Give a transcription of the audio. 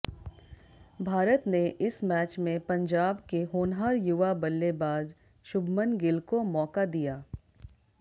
भारत ने इस मैच में पंजाब के होनहार युवा बल्लेबाज शुभमन गिल को मौका दिया